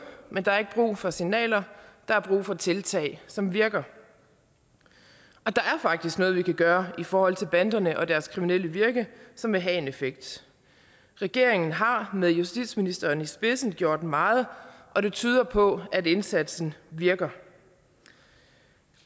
men der er ikke brug for signaler der er brug for tiltag som virker og der er faktisk noget vi kan gøre i forhold til banderne og deres kriminelle virke som vil have en effekt regeringen har med justitsministeren i spidsen gjort meget og det tyder på at indsatsen virker